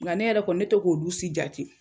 Nga ne yɛrɛ kɔni ne te k'olu si jate